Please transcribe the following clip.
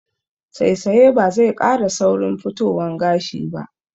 Saisaya ba zai ƙara saurin fitowan gashi ba